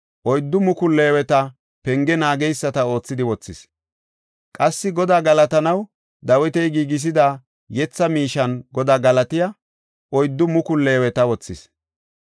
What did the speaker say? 4,000 leeweta penge naageysata oothidi wothis. Qassi Godaa galatanaw Dawiti giigisida yetha miishen Godaa galatiya 4,000 leeweta wothis.